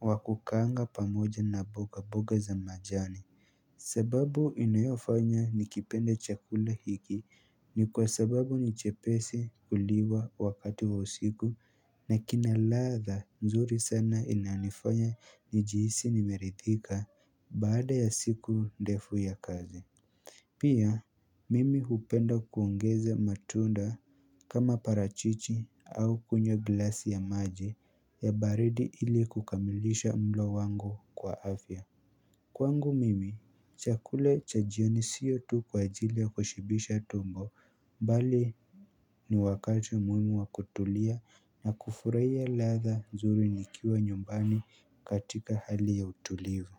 wa kukaanga pamoja na boga boga za majani sababu inayofanya nikipende chakula hiki ni kwa sababu ni chepesi kuliwa wakati wa usiku na kina ladha nzuri sana inanifanya nijihisi nimeridhika baada ya siku ndefu ya kazi Pia, mimi hupenda kuongeza matunda kama parachichi au kunywa glasi ya maji ya baridi ili kukamilisha mlo wangu kwa afya Kwangu mimi, chakula cha jioni siyo tu kwa ajili ya kushibisha tumbo, bali ni wakati muimu wa kutulia na kufurahia ladha nzuri nikiwa nyumbani katika hali ya utulivu.